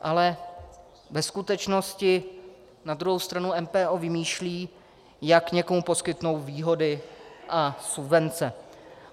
Ale ve skutečnosti na druhou stranu MPO vymýšlí, jak někomu poskytnout výhody a subvence.